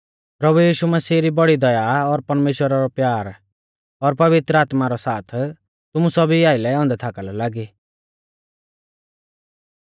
प्रभु यीशु मसीह री बौड़ी दया और परमेश्‍वरा रौ प्यार और पवित्र आत्मा रौ साथ तुमु सौभी आइलै औन्दै थाका लौ लागी